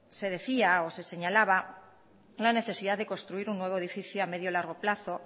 se decía o se señalaba la necesidad de construir un nuevo edificio a medio largo plazo